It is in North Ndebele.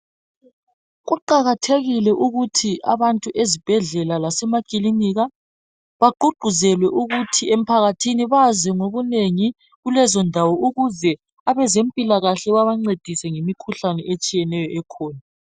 Kuqakathekile ukuthi abantu ezibhedlela lasemakilinika bagqugquzelwe ukuthi emphakathini bazi ngokunengi kulezondawo ukuze abezempilakahle babancedise ngemikhuhlane ekhona.